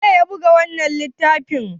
waye ya buga wannan littafi?